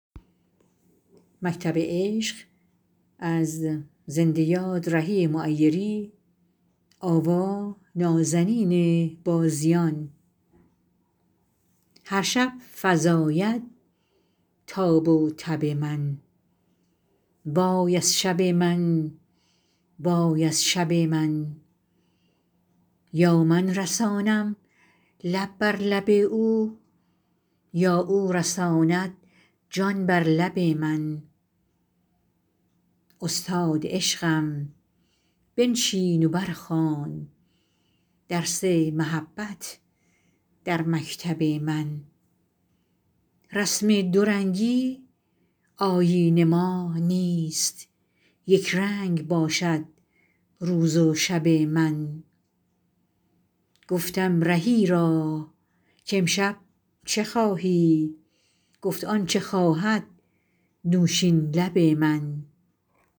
هرشب فزاید تاب و تب من وای از شب من وای از شب من یا من رسانم لب بر لب او یا او رساند جان بر لب من استاد عشقم بنشین و برخوان درس محبت در مکتب من رسم دورنگی آیین ما نیست یکرنگ باشد روز و شب من گفتم رهی را کامشب چه خواهی گفت آنچه خواهد نوشین لب من